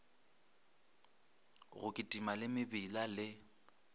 go kitima le mebila le